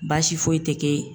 Baasi foyi tɛ kɛ